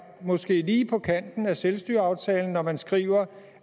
måske er lige på kanten af selvstyreaftalen når man skriver